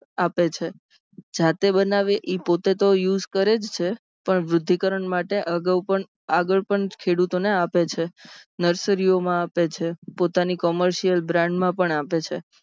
આપે છે. જાતે બનાવે એ પોતે તો use કરે છે. પણ વૃધ્ધિકરન માટે અગાઉ પણ આગળ પણ ખેડૂતોને આપે છે. nursery ઓમાં આપે છે. પોતાની commercial brand માં પણ આપે છે.